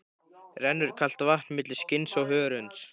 Rennur kalt vatn milli skinns og hörunds.